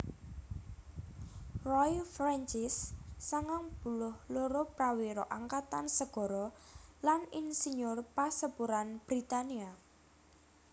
Roy Francis sangang puluh loro prawira angkatan sagara lan insiyur pasepuran Britania